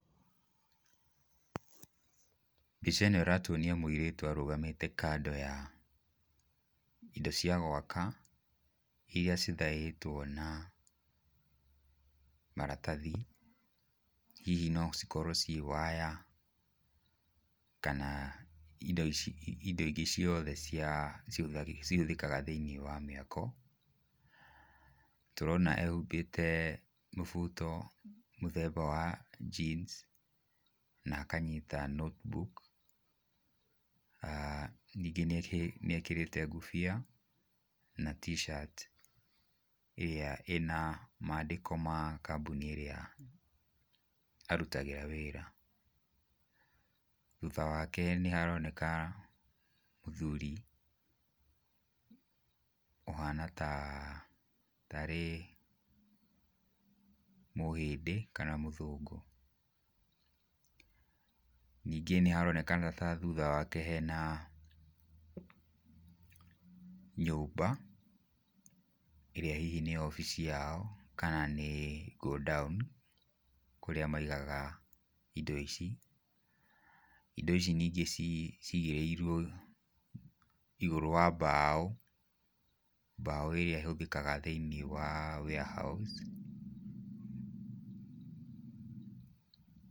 Mbica ĩno ĩratuonia mũirĩtu arũgamite kando ya indo cia gwaka, iria cithaĩtwo na maratathi, hihi no cikorwo ciĩ waya, kana indo ici, indo ingĩ cioothe cia cihũthĩg cihũthĩkaga thĩiniĩ wa mĩako. Tũrona ehumbĩte mũbuto mũthemba wa jeans, na akanyita notebook. Ningĩ nĩekĩrĩte ngũbia na t-shirt ĩrĩa ĩna mandĩko ma kambũni ĩrĩa arutagĩra wĩra. Thutha wake nĩ haroneka mũthuri ũhana ta, tarĩ mũhĩndĩ kana mũthũngũ. Ningĩ nĩ haronekana ta thũtha wake hena nyũmba ĩrĩa hihi nĩ obici yao kana nĩ go-down, kũrĩa maigaga indo ici. Indo ici ningĩ ci cigĩrĩirwo igũrũ wa mbaũ, mbaũ iria ihũthĩkaga thĩiniĩ wa warehouse.